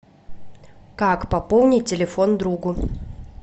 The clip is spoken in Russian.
как пополнить телефон другу